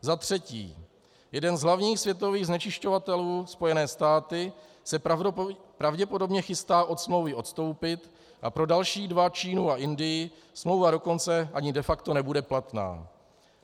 Za třetí, jeden z hlavních světových znečišťovatelů, Spojené státy, se pravděpodobně chystá od smlouvy odstoupit, a pro další dva, Čínu a Indii, smlouva dokonce ani de facto nebude platná.